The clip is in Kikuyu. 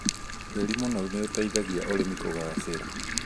Tĩri mũnoru nĩũteithagia ũrĩmi kũgacĩra